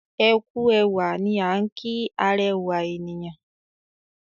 ẹkú ẹwà ní an ki arẹwa ènìyàn.